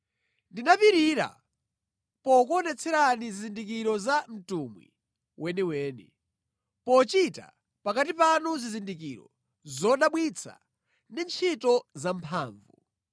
Ndinapirira pokuonetserani zizindikiro za mtumwi weniweni, pochita pakati panu zizindikiro, zodabwitsa ndi ntchito zamphamvu.